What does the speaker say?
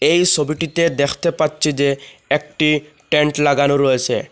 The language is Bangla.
এই সবিটিতে দ্যাখতে পাচ্ছি যে একটি টেন্ট লাগানো রয়েসে।